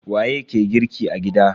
Waye ke girki a gida?